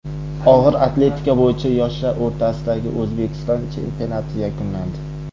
Og‘ir atletika bo‘yicha yoshlar o‘rtasidagi O‘zbekiston chempionati yakunlandi.